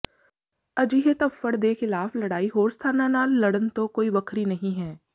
ਅਜਿਹੇ ਧੱਫੜ ਦੇ ਖਿਲਾਫ ਲੜਾਈ ਹੋਰ ਸਥਾਨਾਂ ਨਾਲ ਲੜਨ ਤੋਂ ਕੋਈ ਵੱਖਰੀ ਨਹੀਂ ਹੈ